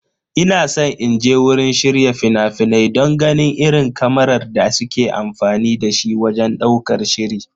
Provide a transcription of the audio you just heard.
Ina san inje wurin shirya fina-finai don ganin irin kamarar da suke amfani da shi wajen ɗaukar shiri.